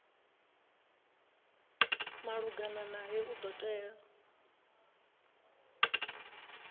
malugana nae u do tea